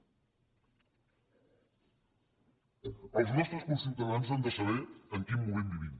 els nostres conciutadans han de saber en quin moment vivim